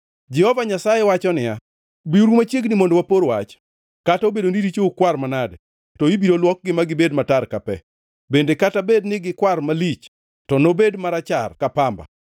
Jehova Nyasaye wacho niya, “Biuru machiegni mondo wapor wach, kata obedo ni richou kwar manade to ibiro luoki magibed matar ka pe, bende kata bed ni gikwar malich to nobed marachar ka pamba.